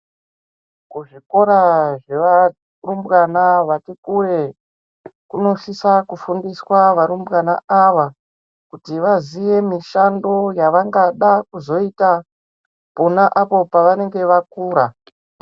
Kuzvikora zvevarumbwana vati kure kunosisa kufundiswa varumbwana ava kuti vaziye mishando yavangada kuzoita pona apo pavanenge vakura.